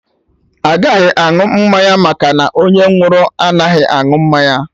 Agaghị aṅụ mmanya maka na onye nwụrụ anaghị anụ mmanya